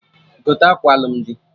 Gote akwa alụmdi!